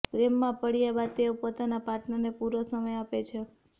પ્રેમમાં પડ્યા બાદ તેઓ પોતાના પાર્ટનરને પૂરોં સમય આપે છે